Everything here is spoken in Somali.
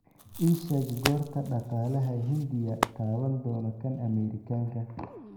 ii sheeg goorta dhaqaalaha Hindiya taaban doono kan Ameerikaanka